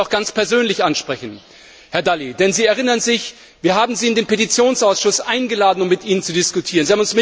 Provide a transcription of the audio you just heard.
Ich möchte Sie ganz persönlich ansprechen, Herr Dalli, denn Sie erinnern sich Wir haben Sie in den Petitionsausschuss eingeladen, um mit Ihnen zu diskutieren.